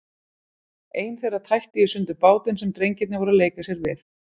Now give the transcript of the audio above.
Ein þeirra tætti í sundur bátinn sem drengirnir voru að leika sér við.